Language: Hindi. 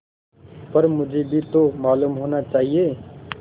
पर मुझे भी तो मालूम होना चाहिए